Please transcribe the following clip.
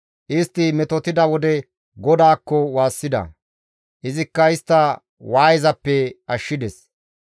Istti metotida wode GODAAKKO waassida; izikka istta waayezappe ashshides.